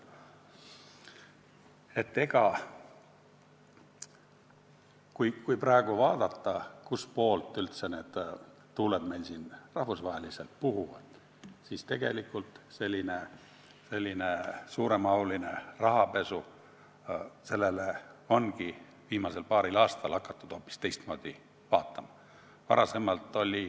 Kui praegu vaadata, kust poolt üldse tuuled rahvusvaheliselt puhuvad, siis selgub, et sellisele suuremahulisele rahapesule ongi viimasel paaril aastal hakatud hoopis teistmoodi vaatama.